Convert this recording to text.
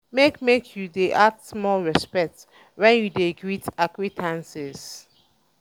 make make um you dey add small respect wen um you dey greet acquaintance.